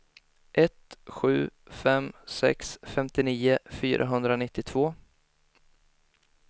ett sju fem sex femtionio fyrahundranittiotvå